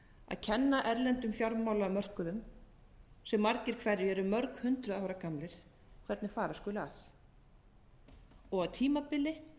að kenna erlendum fjármálamörkuðum sem margir hverjir eru mörg hundruð ára gamlir hvernig fara skuli að og á tímabili